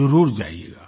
जरुर जाइएगा